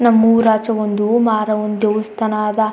ನಮ್ಮೂರ್ ಆಚೆಗೊಂದು ಮಾರವ್ವ ನ್ ದೇವಸ್ಥಾನ ಅದ.